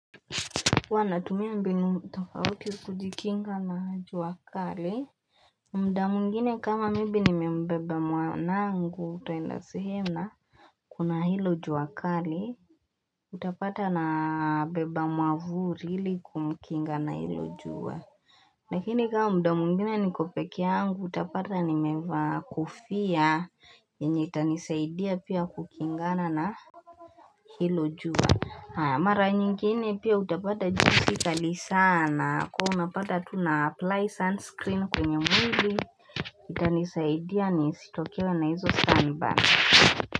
Wana tumia mbinu tofauti kujikinga na juakali mda mungine kama maybe nimembeba mwanangu twaenda sihena Kuna hilo juakali Utapata na beba mwavuri hili kumkinga na hilo jua Lakini kama mda mungine nikopeke yangu utapata nimevaa kofia yenye tanisaidia pia kukingana na hilo jua Mara nyingine pia utapata jinsi kali sana kuwa unapata tu una apply sunscreen kwenye mwili itanisaidia nisitokea na hizo sunburns.